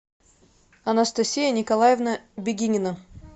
анастасия николаевна бегинина